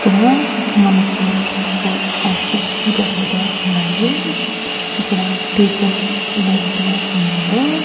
ఇక్కడ మనకి school function జరుగుతూ ఉందండి ఇక్కడ టీచర్స్ వెళ్తూ ఉన్నారు.